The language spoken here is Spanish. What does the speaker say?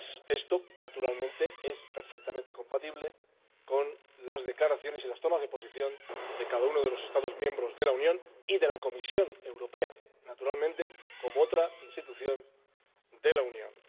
esto es, naturalmente, perfectamente compatible con las declaraciones y las tomas de posición de cada uno de los Estados miembros de la Unión y de la Comisión Europea, naturalmente, como otra institución de la Unión.